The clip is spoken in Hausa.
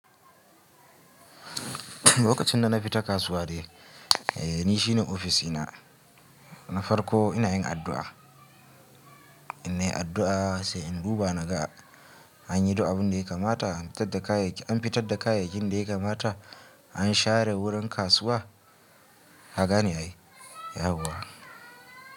Lokacin da na fita kasuwa dai, eh ni shine office dina, na farko ina yin addu'a. Ina yin addu'a sai in duba naga an yi duk abun da ya kamata, an fitar da kayayyakin da ya kamata, an share wurin kasuwa, kagane ne yawa.